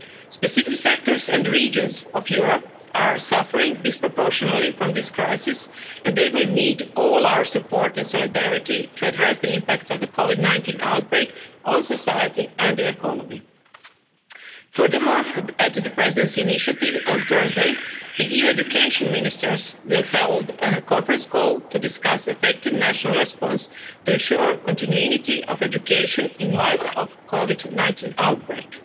Specific sectors and regions of Europe are suffering disproportionately from this crisis and they will need all our support and solidarity to address the impact of the Covid 19 outbreak on society and the economy. Furthermore, on Thursday, on the Presidency's initiative, the EU education ministers will hold a conference call to discuss an effective national response to ensure continuity of education in the light of the Covid 19 outbreak.